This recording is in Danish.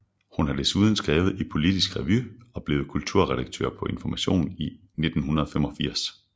Hun har desuden skrevet i Politisk Revy og blev kulturredaktør på Information i 1985